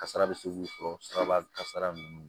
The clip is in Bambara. Kasara bɛ se k'u sɔrɔ siraba kan kasara ninnu